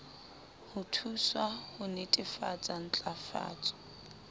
ho thuswa ho netefatsa ntlafatso